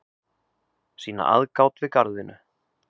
sýna aðgát við garðvinnu